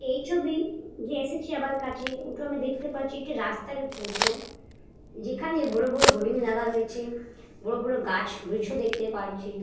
এই ছবি যে এসেছে আমার কাছে দেখতে পাচ্ছি একটি রাস্তার ই ফটো যেখানে বড় বড় বোর্ডিং লাগা রয়েছে বড় বড় গাছও দেখতে পাচ্ছি।